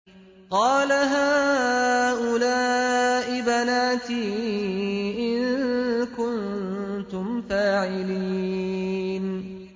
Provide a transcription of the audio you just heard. قَالَ هَٰؤُلَاءِ بَنَاتِي إِن كُنتُمْ فَاعِلِينَ